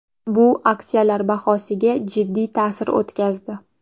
Bu aksiyalar bahosiga jiddiy ta’sir o‘tkazdi.